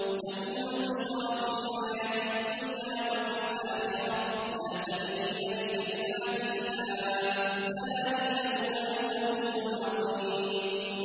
لَهُمُ الْبُشْرَىٰ فِي الْحَيَاةِ الدُّنْيَا وَفِي الْآخِرَةِ ۚ لَا تَبْدِيلَ لِكَلِمَاتِ اللَّهِ ۚ ذَٰلِكَ هُوَ الْفَوْزُ الْعَظِيمُ